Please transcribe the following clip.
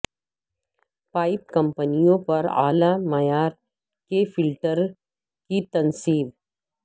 pipe کمپنیوں پر اعلی معیار کے فلٹر کی تنصیب